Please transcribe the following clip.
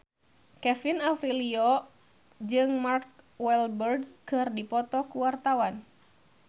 Kevin Aprilio jeung Mark Walberg keur dipoto ku wartawan